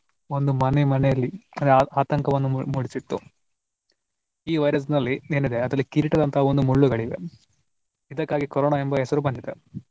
ಒಂದು ಮನೆ ಮನೆಯಲ್ಲಿ ಆಂದ್ರೆ ಆತಂಕವನ್ನು ಮೂಡಿಸಿತ್ತು. ಈ virus ನಲ್ಲಿ ಏನಿದೆ ಅದ್ರಲ್ಲಿ ಕಿರೀಟದಂತಹ ಒಂದು ಮುಳ್ಳುಗಳಿವೆ ಇದಕ್ಕಾಗಿ ಕೊರೊನಾ ಎಂಬ ಹೆಸರು ಬಂದಿದೆ.